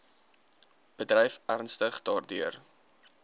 bedryf ernstig daardeur